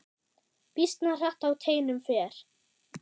Býsna hratt á teinum fer.